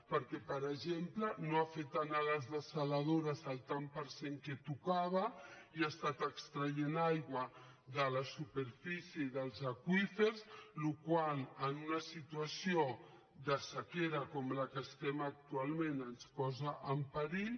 perquè per exemple no ha fet anar a les dessaladores el tant per cent que tocava i ha estat extraient aigua de la superfície i dels aqüífers la qual cosa en una situació de sequera com en la que estem actualment ens posa en perill